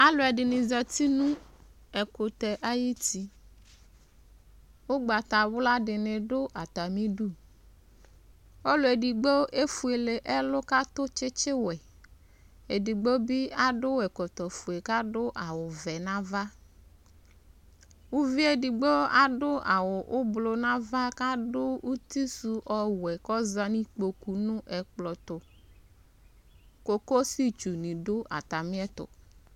Alʋ ɛdini zati nʋ ɛkʋtɛ ayuti Ʋgbatawla di dʋ atami idʋ Ɔlʋ edigbo efuele ɛlʋ kʋ atʋ tsitsi wɛ Edigbo bi adʋ ɛkɔtɔ fue kʋ adʋ awʋ vɛ nʋ ava Uvie edigbo adʋ awʋ ʋblʋ nava kʋ adʋ uti sʋ ɔwɛ kʋ ɔza nʋ ikpoku nʋ ɛkplɔ tʋ Kokosi tsu ni dʋ atami ɛtʋ